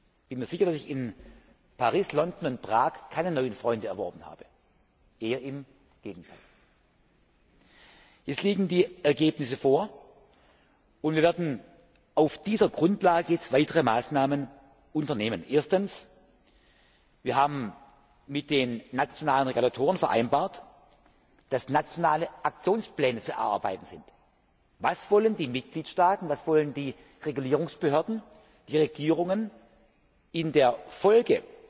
Ich bin mir sicher, dass ich in Paris, London und Prag keine neuen Freunde gewonnen habe, eher im Gegenteil! Die Ergebnisse liegen vor, und wir werden auf dieser Grundlage weitere Maßnahmen ergreifen. Erstens Wir haben mit den nationalen Regulatoren vereinbart, dass nationale Aktionspläne zu erarbeiten sind. Was wollen die Mitgliedstaaten, was wollen die Regulierungsbehörden, die Regierungen in der Folge